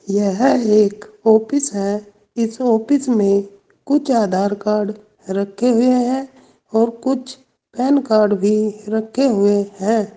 यह एक ऑफिस है इस ऑफिस में कुछ आधार कार्ड रखे हुए हैं और कुछ पैन कार्ड भी रखे हुए हैं।